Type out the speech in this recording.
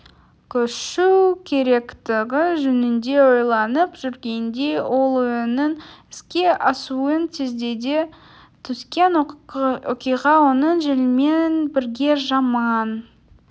көшу керектігі жөнінде ойланып жүргенде ол ойының іске асуын тездете түскен оқиға оның желмен бірге жаман